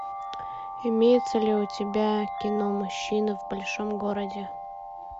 имеется ли у тебя кино мужчины в большом городе